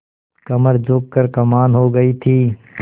कमर झुक कर कमान हो गयी थी